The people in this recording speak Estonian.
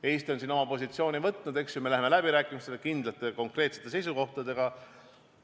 Eesti on siin oma positsiooni võtnud, me läheme läbirääkimistele kindlate konkreetsete seisukohtadega.